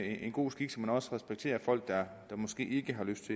en god skik så man også respekterer folk der måske ikke har lyst